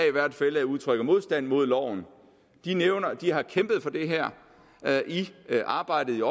udtrykker modstand mod loven har kæmpet for det her i arbejdet